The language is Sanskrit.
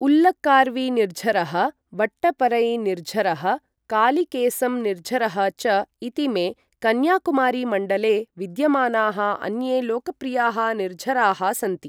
उल्लकार्विनिर्झरः, वट्टपरैनिर्झरः, कालिकेसम् निर्झरः च इतीमे कन्याकुमारीमण्डले विद्यमानाः अन्ये लोकप्रियाः निर्झराः सन्ति।